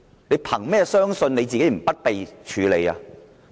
你憑甚麼相信自己不會被處理呢？